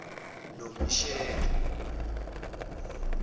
nomesheke